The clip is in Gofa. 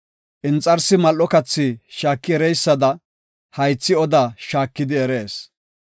Inxarsi mal7o kathi shaaki ereysada, haythi oda shaakidi erees.